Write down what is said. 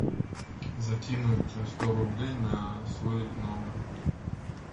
закинуть сто рублей на свой номер